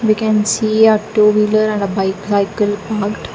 we can see a two wheeler and a bicycle parked.